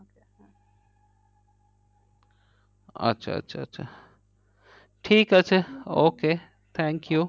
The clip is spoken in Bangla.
আচ্ছা আচ্ছা আচ্ছা ঠিক আছে okay thank you হ্যাঁ হ্যাঁ হ্যাঁ okay